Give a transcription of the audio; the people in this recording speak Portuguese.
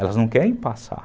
Elas não querem passar.